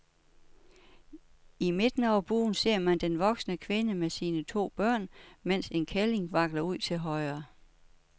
I midten over buen ser man den voksne kvinde med sine to børn, mens en kælling vakler ud til højre.